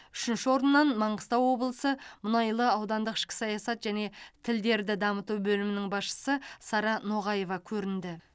үшінші орыннан маңғыстау облысы мұнайлы аудандық ішкі саясат және тілдерді дамыту бөлімінің басшысы сара ноғаева көрінді